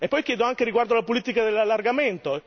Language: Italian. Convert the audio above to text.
E poi chiedo anche riguardo alla politica dell'allargamento.